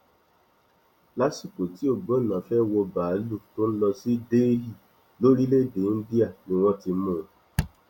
lásìkò tí ògbónná fẹẹ wọ báálùú tó ń lọ sí delhi lórílẹèdè íńdíà ni wọn ti mú un